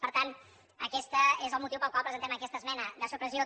per tant aquest és el motiu pel qual presentem aquesta esmena de supressió